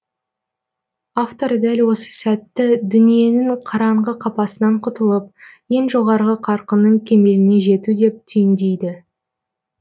автор дәл осы сәтті дүниенің қараңғы қапасынан құтылып ең жоғарғы қарқынның кемеліне жету деп түйіндейді